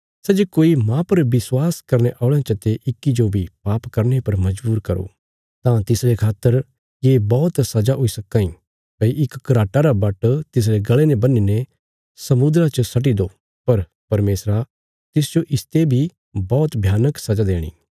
सै जे कोई माह पर विश्वास करने औल़यां चते इक्की जो बी पाप करने पर मजबूर करो तां तिसरे खातर ये बौहत सजा हुई सक्कां इ भई इक घराटा रा बाट्ट तिसरे गल़े ने बन्हीने समुद्रा च सट्टि दो पर परमेशरा तिसजो इसते बी बौहत भयानक सजा देणी